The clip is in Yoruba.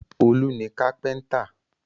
Olú ni kápẹ́ńtà.